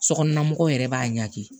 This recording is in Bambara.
Sokɔnɔla mɔgɔw yɛrɛ b'a ɲagami